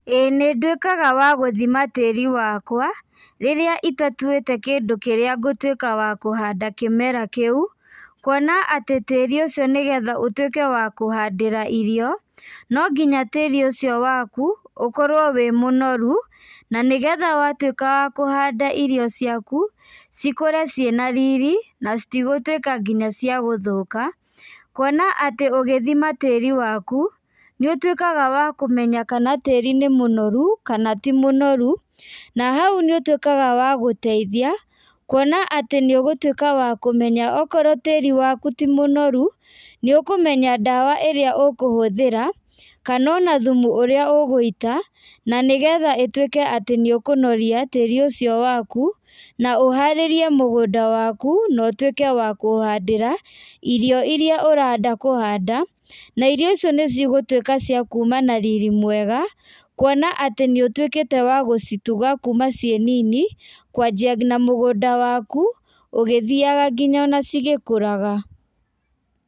Ĩĩ nĩnduĩkaga wa gũthima tĩri wakwa, rĩrĩa itatuĩte kindũ kĩrĩa ngũtuĩka wa kũhanda kĩmera kĩũ, kuona atĩ tĩrĩ ũcio nĩgetha ũtuĩke wa kũhandĩra irio, nongĩnya tĩri ũcio waku, ũkorwo wĩ mũnoru, na nĩgetha watuĩka wa kũhanda irio ciaku, cikũre ciĩna riri, na citigũtuĩka nginya cia gũthũka, kuona atĩ ũgĩthima tĩri waku, nĩũtuĩkaga wa kũmenya kana tĩri nĩ mũnoru, kana ti mũnoru, na hau nĩũtuĩkaga wa gũteithia, kuona atĩ nĩũgũtuĩka wa kũmenya okorwo tĩri waku ti mũnoru, nĩũkũmenya ndawa ĩrĩa ũkũhũthĩra, kana ona thumu ũrĩa ũgũita, na nĩgetha ĩtuĩke atĩ nĩũkũnoria tĩri ũcio wwaku, na ũharĩrie mũgũnda waku, no ũtuĩke wa kũhandĩra, irio iria ũrenda kũhanda, na irio icio nĩcigũtuĩka cia kuma na riri mwega, kuona atĩ nĩũtuĩkĩte wa gũcituga kuma ciĩ nini, kwanjia nginya mũgũnda waku, ũgĩthiaga nginya ona cigĩkũraga.